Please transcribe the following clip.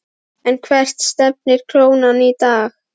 En hvert stefnir krónan í dag?